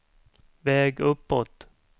väg uppåt